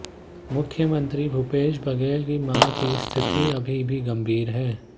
मुख्यमंत्री भूपेश बघेल की मां की स्थिति अभी भी गंभीर है